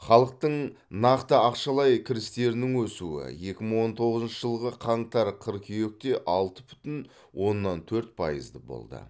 халықтың нақты ақшалай кірістерінің өсуі екі мың он тоғызыншы жылғы қаңтар қыркүйекте алты бүтін оннан төрт пайызды болды